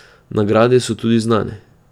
Nagrade so tudi znane.